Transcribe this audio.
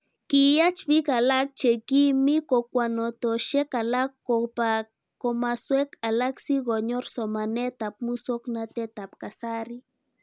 Kiyach pik alak che kimii kokwatonoshek alak kopa komaswek alak sikonyor somanet ab muswognatet ab kasari